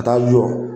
Ka taa jɔ